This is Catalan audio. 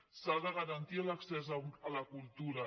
s’ha de garantir l’accés a la cultura